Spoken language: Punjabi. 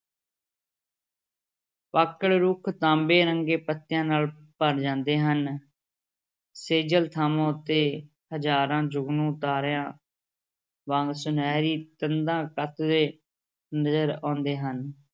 ਪਾਕੜ ਰੁੱਖ ਤਾਂਬੇ ਰੰਗੇ ਪੱਤਿਆਂ ਨਾਲ ਭਰ ਜਾਂਦੇ ਹਨ ਸੇਜਲ ਥਾਂਵਾਂ ਉੱਤੇ ਹਜ਼ਾਰਾਂ ਜੁਗਨੂੰ ਤਾਰਿਆਂ ਵਾਂਗ ਸੁਨਹਿਰੀ ਤੰਦਾਂ ਕੱਤਦੇ ਨਜ਼ਰ ਆਉਂਦੇ ਹਨ।